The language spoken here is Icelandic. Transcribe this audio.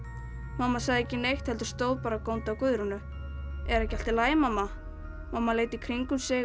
mamma sagði ekki neitt heldur stóð bara og góndi á Guðrúnu er ekki allt í lagi mamma mamma leit í kringum sig